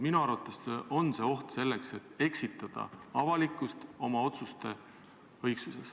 Minu arvates on oht selleks, et eksitada avalikkust oma otsuste õigsuses.